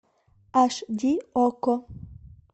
аш ди окко